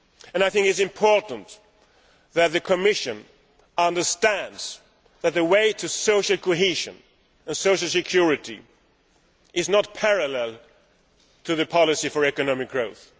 I think it is important for the Commission to understand that the way to social cohesion and social security does not run parallel to the policy for economic growth.